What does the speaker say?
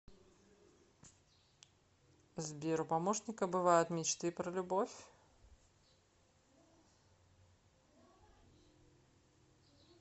сбер у помощника бывают мечты про любовь